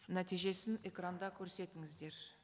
нәтижесін экранда көрсетіңіздер